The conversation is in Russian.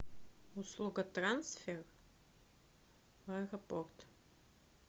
услуга трансфер в аэропорт